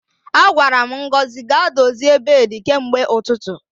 Agwara m Ngozi ga-dozie beedi kemgbe ụtụtụ